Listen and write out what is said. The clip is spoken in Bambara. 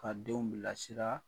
Ka denw bilasira